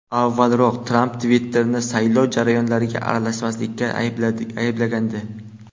Avvalroq Tramp Twitter’ni saylov jarayonlariga aralashganlikda ayblagandi .